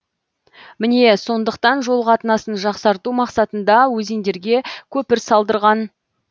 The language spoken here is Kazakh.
міне сондықтан жол қатынасын жақсарту мақсатында өзендерге көпір салдырған